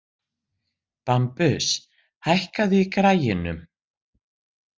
Bambus, hækkaðu í græjunum.